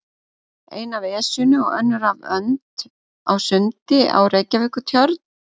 Ein af Esjunni og önnur af önd á sundi á Reykjavíkurtjörn.